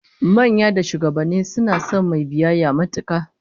Manya da shugabanni suna son mai biyayya matuka